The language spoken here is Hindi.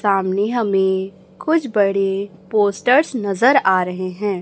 सामने हमें कुछ बड़े पोस्टर्स नजर आ रहें हैं।